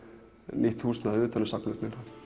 nýtt húsnæði utan um safnið